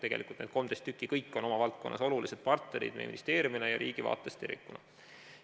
Tegelikult on need 13 kõik oma valdkonnas olulised partnerid ministeeriumile ja riigi vaates tervikuna.